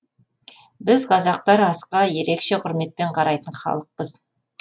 біз қазақтар асқа ерекше құрметпен қарайтын халықпыз